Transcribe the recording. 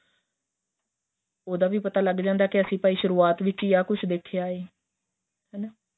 ਉਹਦਾ ਵੀ ਪਤਾ ਲੱਗ ਜਾਂਦਾ ਏ ਅਸੀਂ ਭਾਈ ਸੁਰੂਆਤ ਵਿੱਚ ਆਹੀ ਕੁੱਛ ਦੇਖਿਆਂ ਏ ਹੈਨਾ